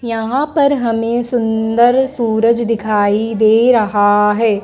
यहाँ पर हमें सुंदर सूरज दिखाई दे रहा है।